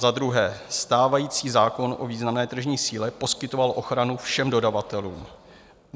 Za druhé, stávající zákon o významné tržní síle poskytoval ochranu všem dodavatelům.